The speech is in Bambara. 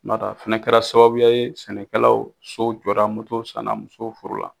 O n'a t'a fɛnɛ kɛra sababuya ye sɛnɛkɛlaw, sow jɔra, motow sanna, musow furu la